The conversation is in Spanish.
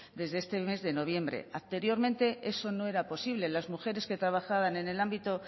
desde este mes de noviembre anteriormente eso no era posible las mujeres que trabajaban en el ámbito